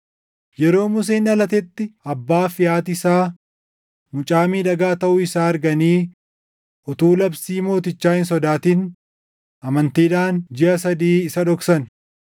Yeroo Museen dhalatetti abbaa fi haati isaa mucaa miidhagaa taʼuu isaa arganii utuu labsii mootichaa hin sodaatin amantiidhaan jiʼa sadii isa dhoksan.